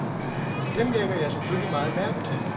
Dem lægger jeg selvfølgelig meget mærke til.